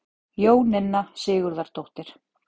Jóninna Sigurðardóttir.